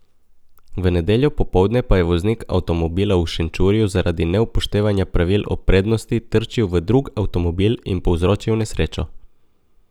V nedeljo popoldne pa je voznik avtomobila v Šenčurju zaradi neupoštevanja pravil o prednosti trčil v drug avtomobil in povzročil nesrečo.